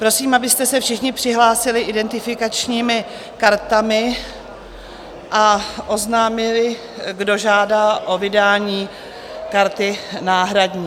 Prosím, abyste se všichni přihlásili identifikačními kartami a oznámili, kdo žádá o vydání karty náhradní.